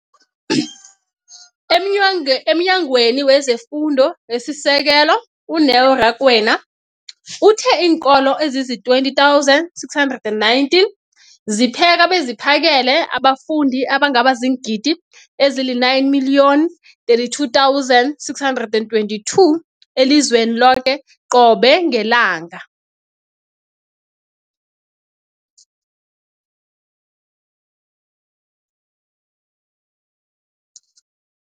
EmNyangweni wezeFundo esiSekelo, u-Neo Rakwena, uthe iinkolo ezizi-20 619 zipheka beziphakele abafundi abangaba ziingidi ezili-9 032 622 elizweni loke qobe ngelanga.